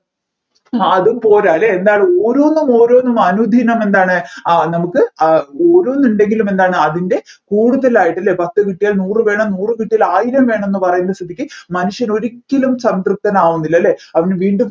ആഹ് അതുംപോരാലെ എന്താണ് ഓരോന്നും ഓരോന്നും അനുദിനം എന്താണ് ആഹ് നമ്മുക്ക് ആഹ് ഓരോന്ന് ഉണ്ടെങ്കിലും എന്താണെന്നു അതിൻ്റെ കൂടുതൽ ആയിട്ട് പത്ത് കിട്ടിയാൽ നൂറ് വേണം നൂറ് കിട്ടിയാൽ ആയിരം വേണമെന്ന് പറയുന്ന സ്ഥിതിക്ക് മനുഷ്യൻ ഒരിക്കലും സംതൃപ്തനാവുന്നില്ല അല്ലെ അവൻ വീണ്ടും